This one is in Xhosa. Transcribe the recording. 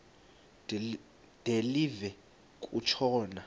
de live kutshona